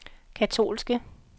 katolske